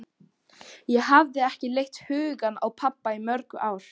Ég hafði ekki leitt hugann að pabba í mörg ár.